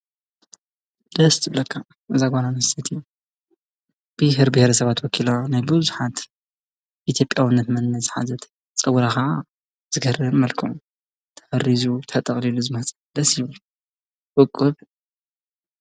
ደስ ትብለካ እዛ ጓል ኣንስቴቲ ብሔርቢሔረ ሰባት ወኪላ ናይ ብዙሓት ኢትዮጲያውነት መንነት ዝሓዘት ፀጉራ ኸዓ ብዝገርም መልክዑ ተጠሪዙ ፣ ተጠቕሊሉ ዝመፀ ደስ ይብል ውቁብ!